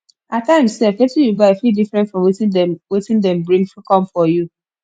at times sef wetin yu buy fit different from wetin dem wetin dem bring kom for yu